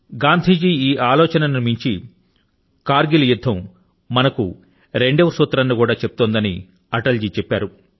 గాంధీ జీ యొక్క ఈ ఆలోచన ను మించి కర్ గిల్ యుద్ధం మనకు రెండో సూత్రాన్ని కూడా చెప్తోందని అటల్ గారు అన్నారు